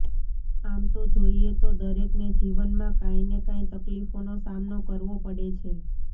આમ તો જોઈએ તો દરેકને જીવનમાં કાંઈને કાંઈ તકલીફોનો સામનો કરવો પડે છે